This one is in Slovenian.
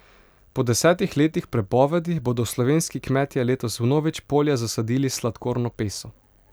Po desetih letih prepovedi bodo slovenski kmetje letos vnovič polja zasadili s sladkorno peso.